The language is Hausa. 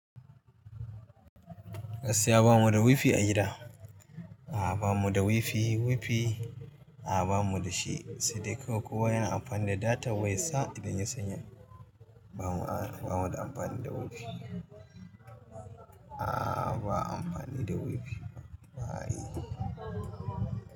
Gaskiya bamu da wifi a gida. A'a ba mu da wifi, wifi a'a ba mu da shi. Saida kawai kowa yana amfani da data waya sa idan ya sanya. Ba mu a'a ba mu da amfani da wifi. A'a ba amfani da wifi ba ayi.